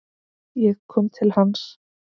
Ég kom til hans.